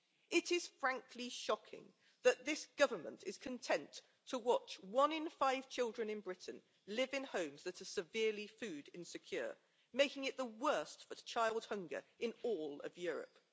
It is frankly shocking that this government is content to watch one in five children in Britain live in homes that are severely food insecure, making it the worst for child hunger in all of Europe.